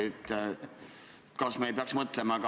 Mis viie aasta pärast saab?